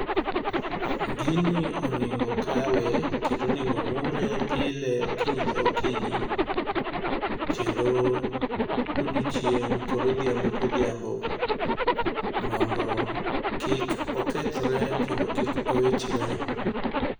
Gini onego kawe kendo onego mure pile okinyi ka okinyi. Kendo odiechieng' kod odhiambo kodhiambo mondo kik okethre kendo kik owichre.